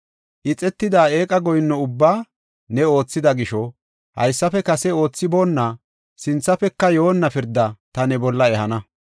Ixetida eeqa goyinno ubbaa ne oothida gisho, haysafe kase oothaboonna, sinthafeka yoonna pirdaa ta ne bolla ehana.